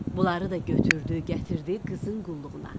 Bunları da götürdü, gətirdi qızın qulluğuna.